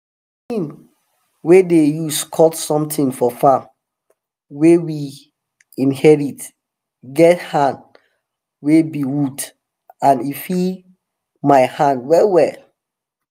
di tin wey we dey use cut somtin for farm wey we inherit get hand wey be wood and e fit my hand well well.